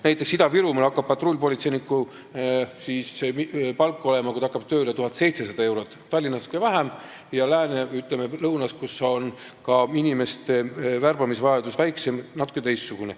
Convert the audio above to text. Näiteks, Ida-Virumaal saab patrullpolitseiniku palgaks tööle hakkamise hetkel 1700 eurot, Tallinnas natuke vähem ja lääne või, ütleme, lõuna pool, kus inimeste värbamise vajadus on väiksem, natuke teistsugune.